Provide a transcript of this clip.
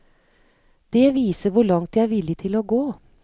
Det viser hvor langt de er villig til å gå.